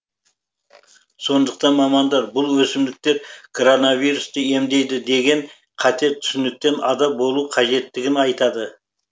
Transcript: сондықтан мамандар бұл өсімдіктер коронавирусты емдейді деген қате түсініктен ада болу қажеттігін айтады